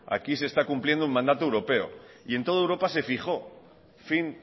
aquí se está cumpliendo un mandato europeo y en toda europa se fijó fin